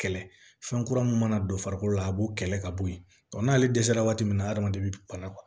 Kɛlɛ fɛn kura mun mana don farikolo la a b'o kɛlɛ ka bɔ yen n'ale dɛsɛra waati min na hadamaden be bana